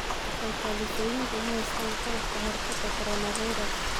Kalkaalisooyinku ma haystaan ​​qalabka ka hortagga coronavirus.